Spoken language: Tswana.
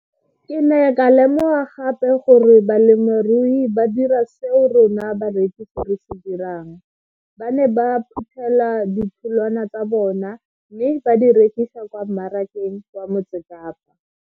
Ke ne ka lemoga gape gore balemirui ba dira seo rona barekisi re se dirang ba ne ba phuthela ditholwana tsa bona mme ba di rekisa kwa marakeng wa Motsekapa.